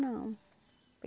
Não.